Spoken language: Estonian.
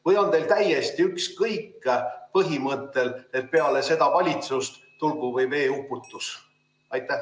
Või on teil täiesti ükskõik, põhimõttel, et peale seda valitsust tulgu või veeuputus?